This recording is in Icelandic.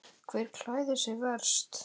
Hver klæðir sig verst?